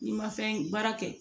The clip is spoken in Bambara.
N'i ma fɛn baara kɛ